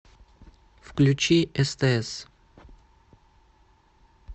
включи стс